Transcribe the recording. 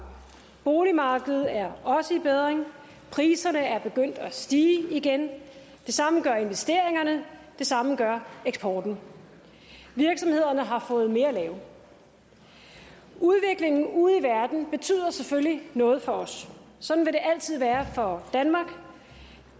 boligmarkedet er også i bedring priserne er begyndt at stige igen det samme gør investeringerne og det samme gør eksporten virksomhederne har fået mere at lave udviklingen ude i verden betyder selvfølgelig noget for os sådan vil det altid være for danmark